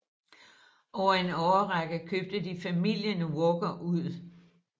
Over en årrække købte de familien Walker ud